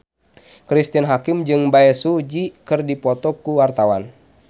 Cristine Hakim jeung Bae Su Ji keur dipoto ku wartawan